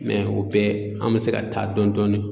o bɛɛ an bɛ se ka taa dɔn dɔɔni.